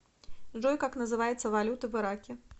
джой как называется валюта в ираке